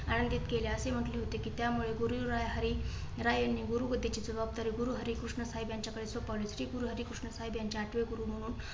आमंत्रित केले, अशी म्हटली होती कि. त्यामुळे गुरुहरीराय यांनी गुरु गद्दी ची जबाबदारी गुरूहरी कृष्णसाहेब यांच्याकडे सोपवली. श्री गुरु हरिकृष्ण साहेब यांचे आठवे गुरु म्हणून